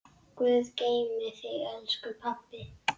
Guð geymi þig, elsku pabbi.